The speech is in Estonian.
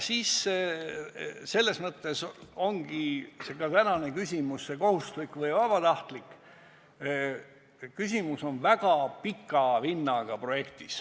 Selles mõttes on küsimus, kas kogumine olgu kohustuslik või vabatahtlik, väga pika vinnaga.